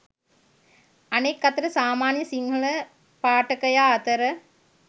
අනෙක් අතට සාමාන්‍ය සිංහල පාඨකයා අතර